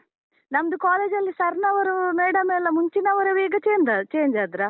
ನಮ್ದು college ಅಲ್ಲಿ sir ನವರು madam ಎಲ್ಲ ಮುಂಚಿನವರೆವಾ ಈಗ change, change ಆದ್ರಾ?